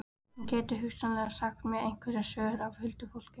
Hún gæti hugsanlega sagt mér einhverjar sögur af huldufólki.